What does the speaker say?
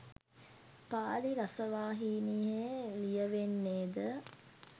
පාලි රසවාහිනිය ලියවෙන්නේද